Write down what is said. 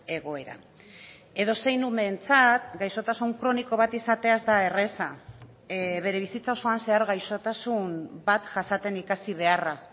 egoera edozein umeentzat gaixotasun kroniko bat izatea ez da erraza bere bizitza osoan zehar gaixotasun bat jasaten ikasi beharra